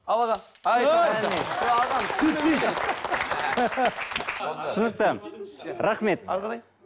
ал аға түсінікті рахмет әрі қарай